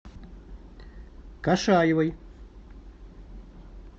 кашаевой